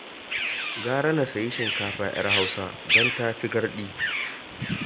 Gara na sayi shinkafa 'yar Hausa don ta fi garɗi